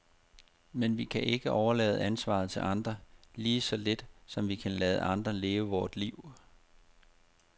Men vi kan ikke overlade ansvaret til andre, lige så lidt som vi kan lade andre leve vort liv.